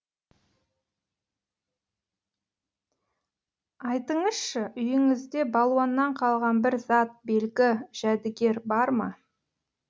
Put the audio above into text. айтыңызшы үйіңізде балуаннан қалған бір зат белгі жәдігер бар ма